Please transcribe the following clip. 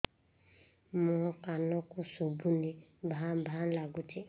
ମୋ କାନକୁ ଶୁଭୁନି ଭା ଭା ଲାଗୁଚି